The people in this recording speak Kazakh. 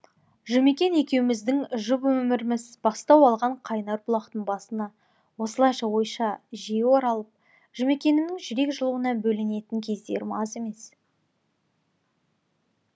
жұмекен екеуміздің жұп өміріміз бастау алған қайнар бұлақтың басына осылайша ойша жиі оралып жұмекенімнің жүрек жылуына бөленетін кездерім аз емес